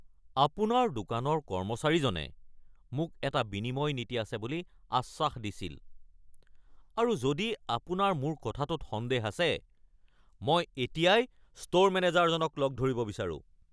আপোনাৰ দোকানৰ কৰ্মচাৰীজনে মোক এটা বিনিময় নীতি আছে বুলি আশ্বাস দিছিল, আৰু যদি আপোনাৰ মোৰ কথাটোত সন্দেহ আছে, মই এতিয়াই ষ্ট'ৰ মেনেজাৰজনক লগ ধৰিব বিচাৰোঁ। (মই)